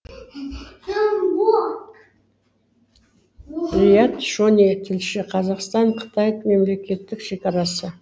риат шони тілші қазақстан қытай мемлекеттік шекарасы